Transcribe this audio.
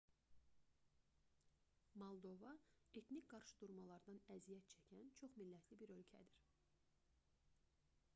moldova etnik qarşıdurmalardan əziyyət çəkən çox-millətli bir ölkədir